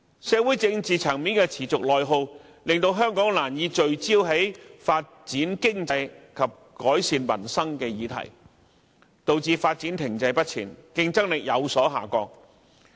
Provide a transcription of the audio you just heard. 社會政治層面的內耗持續，令香港難以聚焦在發展經濟及改善民生的議題上，導致發展停滯不前，競爭力有所下降。